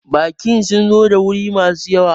Bakin sun zo da wuri ma su yawa